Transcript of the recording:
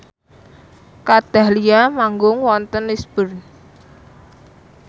Kat Dahlia manggung wonten Lisburn